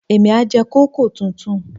Èmi á jẹ kòkó tuntun.